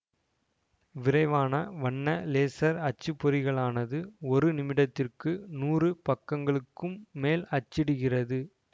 விரைவான வண்ண லேசர் அச்சுப்பொறிகளானது ஒரு நிமிடத்திற்கு நூறு பக்கங்களுக்கும் மேல் அச்சிடுகிறது